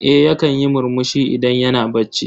Eh yakan yi murmushi idan yana bacci.